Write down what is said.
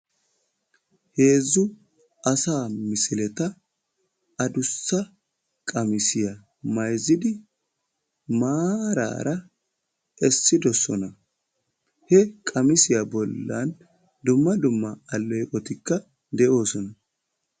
Heezzu asa misileta addussa qammissiya bayzzidi maarara essidoosona. He qammissiya bollan dumma dumma alleeqotikka de'oosona.